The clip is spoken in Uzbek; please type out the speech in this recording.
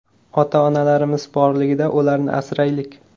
Ota-onalarimiz borligida ularni asraylik!